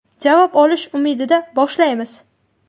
Javob olish umidida boshlaymiz.